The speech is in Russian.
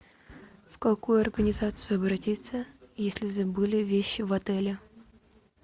в какую организацию обратиться если забыли вещи в отеле